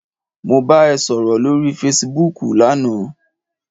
Mo bá ẹ sọ̀rọ̀ lórí fesibúùkù lana